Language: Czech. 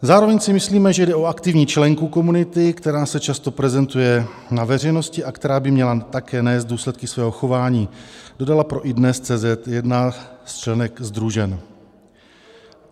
"Zároveň si myslíme, že jde o aktivní členku komunity, která se často prezentuje na veřejnosti a která by měla také nést důsledky svého chování," dodala pro iDNES.cz jedna z členek SdruŽen.